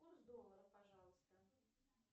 курс доллара пожалуйста